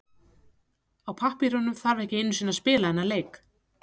Á pappírunum þarf ekki einu sinni að spila þennan leik.